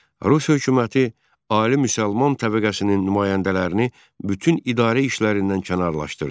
Rus hökuməti ali müsəlman təbəqəsinin nümayəndələrini bütün idarə işlərindən kənarlaşdırdı.